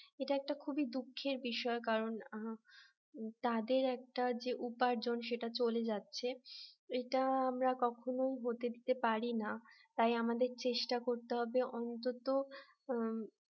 এটা একটা খুবই দুঃখের বিষয় কারণ তাদের একটা যে উপার্জন সেটা চলে যাচ্ছে এটা আমরা কখনোই হতে দিতে পারি না তাই আমাদের চেষ্টা করতে হবে অন্তত